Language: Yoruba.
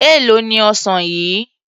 Èló ni ọsàn yìí?